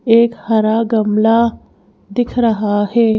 एक हरा गमला दिख रहा है।